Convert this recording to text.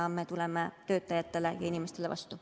Me tuleme töötajatele ja inimestele vastu.